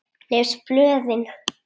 Les blöðin.